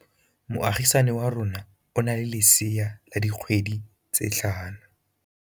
Moagisane wa rona o na le lesea la dikgwedi tse tlhano.